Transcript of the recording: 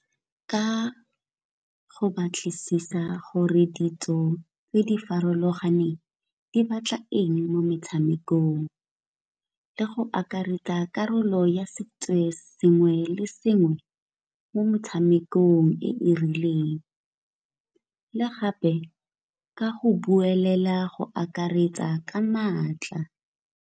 Ka go batlisisa gore ditso tse di farologaneng di batla eng mo metshamekong le go akaretsa karolo ya sengwe le sengwe mo motshamekong e e rileng. Le gape ka go buelela go akaretsa ka maatla.